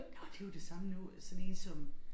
Nåh det jo det samme nu sådan én som